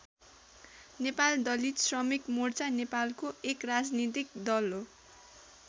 नेपाल दलित श्रमिक मोर्चा नेपालको एक राजनीतिक दल हो।